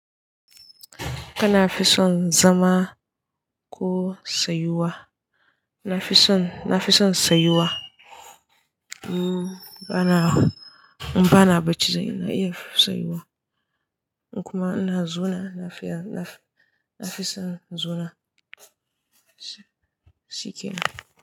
Kana fison zama ko tsayuwa? Nafison, nafison sayuwa. Mm bana, bana bacci za ina iya tsayuwa kuma ina zuna lafiya nafison zuna. Shikenan.